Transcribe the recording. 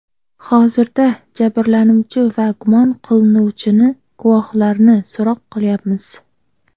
Hozirda jabrlanuvchi va gumon qilinuvchini, guvohlarni so‘roq qilyapmiz.